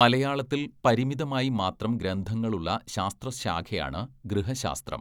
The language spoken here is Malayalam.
മലയാളത്തിൽ പരിമിതമായി മാത്രം ഗ്രന്ഥങ്ങളുള്ള ശാസ്ത്രശാഖയാണ് ഗൃഹശാസ്ത്രം.